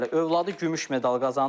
Övladı gümüş medal qazanıb.